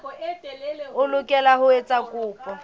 o lokela ho etsa kopo